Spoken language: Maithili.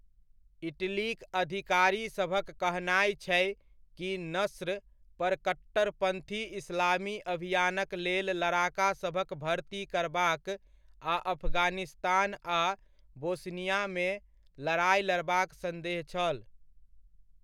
इटलीक अधिकारीसभक कहनाय छै कि नस्र पर कट्टरपन्थी इस्लामी अभियानक लेल लड़ाकासभक भर्ती करबाक आ अफगानिस्तान आ बोस्नियामे लड़ाइ लड़बाक सन्देह छल।